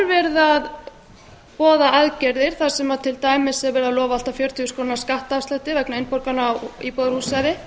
þar eru boðaðar aðgerðir þar sem til dæmis er lofað allt að fjörutíu þúsund krónur skattafslætti vegna innborgana á íbúðarhúsnæði